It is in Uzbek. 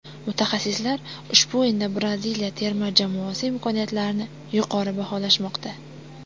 Mutaxassislar ushbu o‘yinda Braziliya terma jamoasi imkoniyatlarini yuqori baholashmoqda.